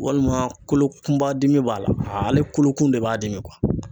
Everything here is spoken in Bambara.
Walima kolo kunba dimi b'a la ,ale kolo kun de b'a dimi